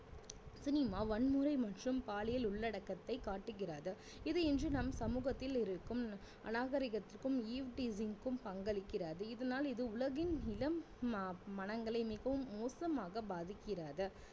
cinema வன்முறை மற்றும் பாலியல் உள்ளடக்கத்தை காட்டுகிறது இது இன்று நம் சமூகத்தில் இருக்கும் அநாகரிகத்திற்கும் eve teasing கும் பங்களிக்கிறது இதனால் இது உலகின் இளம் ம~மனங்களை மிகவும் மோசமாக பாதிக்கிறது